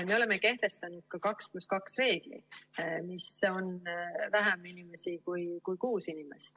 Me oleme kehtestanud ka 2 + 2 reegli, mis on vähem inimesi kui kuus inimest.